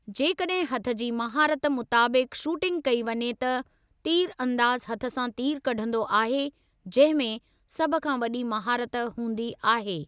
जेकॾहिं हथ जी महारत मुताबिक़ि शूटिंग कई वञे त, तीर अंदाज़ु हथ सां तीरु कढंदो आहे, जंहिं में सभ खां वॾी महारत हूंदी आहे।